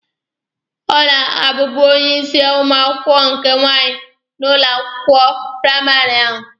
Ọ na-abubu onye isi ụmụ akwụkwọ nke nwaanyị n'ụlọ akwụkwọ praịmarị ahụ.